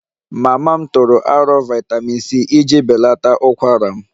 Mama m tụrụ aro vitamin c iji belata ukwara m